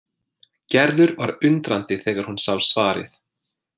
Gerður varð undrandi þegar hún sá svarið.